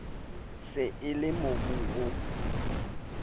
se e le mobung o